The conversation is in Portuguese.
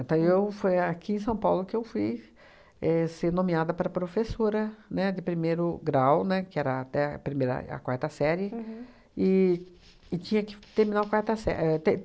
Então eu, foi aqui em São Paulo que eu fui éh ser nomeada para professora, né, de primeiro grau, né, que era até a primeira a quarta série, e e tinha que terminar a quarta sé